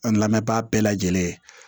A lamɛnbaga bɛɛ lajɛlen